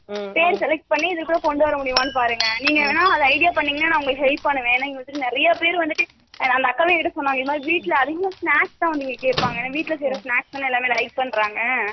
per select பண்ணிட்டு இதுக்குள்ள கொண்டுவர முடியுமான்னு பாருங்க நீங்க வேணுனா idea பண்ண நன் உங்களுக்கு help பண்ணுவே, ஏன்னா என்கிட்டே நிறைய பேர் வந்துட்டு அந்த அக்காவே என்கிட்டே சொன்னாங்க இந்தமாரி வீட்ல நிறைய snacks தான் கேட்ப்பாங்க, ஏன்னா வீட்ல செய்ற snacks எல்லாமே like பண்றாங்க